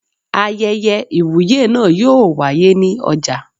Ayẹyẹ Ìwúyè náà yóò wáyé ní ọjà.